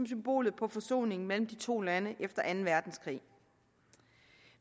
symbol på forsoning mellem de to lande efter anden verdenskrig